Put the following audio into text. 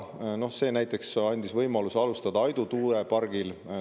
See näiteks andis võimaluse alustada Aidu tuuleparki.